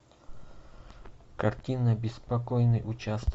картина беспокойный участок